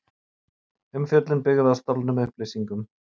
Umfjöllun byggð á stolnum upplýsingum